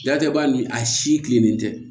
Datigɛba ni a si kilennen tɛ